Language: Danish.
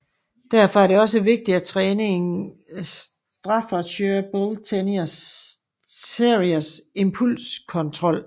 Derfor er det også vigtigt at træne en Staffordshire Bull Terriers impulskontrol